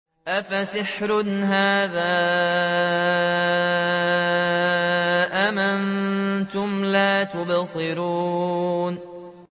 أَفَسِحْرٌ هَٰذَا أَمْ أَنتُمْ لَا تُبْصِرُونَ